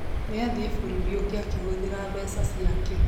Nĩ athiĩe bũrũri ũngĩ akĩhũthĩra mbeca ciake